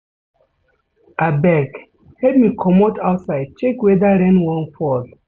Abeg, help me comot outside check weather rain wan fall.